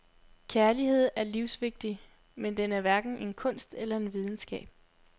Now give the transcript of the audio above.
Kærlighed er livsvigtig, men den er hverken en kunst eller en videnskab.